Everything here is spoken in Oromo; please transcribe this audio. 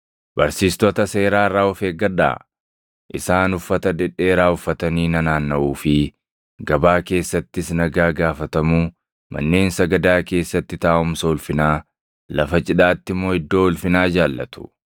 “Barsiistota seeraa irraa of eeggadhaa. Isaan uffata dhedheeraa uffatanii nanaannaʼuu fi gabaa keessattis nagaa gaafatamuu, manneen sagadaa keessatti taaʼumsa ulfinaa, lafa cidhaatti immoo iddoo ulfinaa jaallatu.